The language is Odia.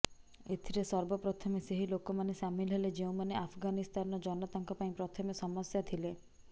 ଏଥିରେ ସର୍ବପ୍ରଥମେ ସେହି ଲୋକମାନେ ସାମିଲ ହେଲେ ଯେଉଁମାନେ ଆଫଗାନିସ୍ଥାନର ଜନତାଙ୍କ ପାଇଁ ପ୍ରଥମେ ସମସ୍ୟା ଥିଲେ